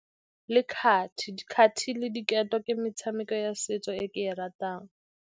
Le kgati, kgati le diketo ke metshameko ya setso e ke e ratang.